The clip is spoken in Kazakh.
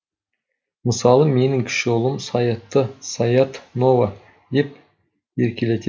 мысалы менің кіші ұлым саятты саят нова деп еркелететін